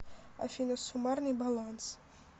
афина суммарный баланс